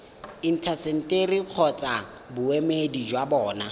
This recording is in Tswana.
intaseteri kgotsa boemedi jwa bona